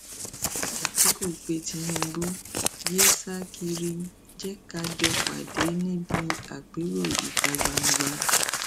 àtìkù pé tinubu yee sá kiri jẹ ká jọ pàdé níbi àpérò ìta gbangba